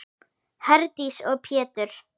Herdís og Pétur.